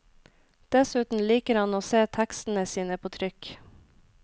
Dessuten liker han å se tekstene sine på trykk.